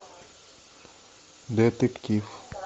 детектив